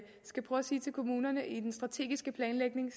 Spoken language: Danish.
sige til kommunerne at vi i den strategiske planlægning